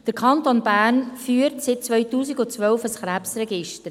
Der Kanton Bern führt seit 2012 ein Krebsregister.